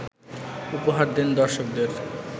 উপহার দেন দর্শকদের